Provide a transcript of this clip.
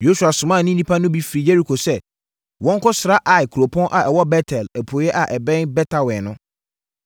Yosua somaa ne nnipa no bi firi Yeriko sɛ wɔnkɔsra Ai kuropɔn a ɛwɔ Bet-El apueeɛ a ɛbɛn Bet-Awen no.